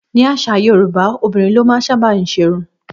Ní àṣà Yorùbá, obìnrin ló máa ń sábà ṣe irun